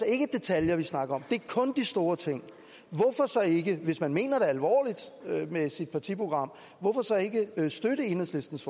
ikke detaljer vi snakker det er kun de store ting hvis man mener det alvorligt med sit partiprogram hvorfor så ikke støtte enhedslistens